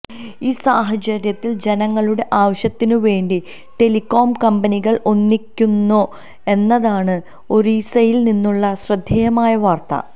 ഈ സാഹചര്യത്തില് ജനങ്ങളുടെ ആവശ്യത്തിന് വേണ്ടി ടെലികോം കമ്പനികള് ഒന്നിക്കുന്നു എന്നതാണ് ഒറീസയില് നിന്നുള്ള ശ്രദ്ധേമായ വാര്ത്ത